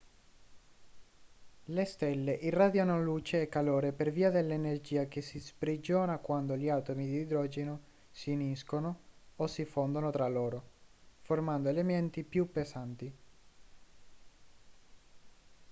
le stelle irradiano luce e calore per via dell'energia che si sprigiona quando gli atomi di idrogeno si uniscono o si fondono tra loro formando elementi più pesanti